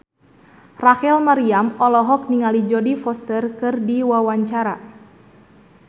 Rachel Maryam olohok ningali Jodie Foster keur diwawancara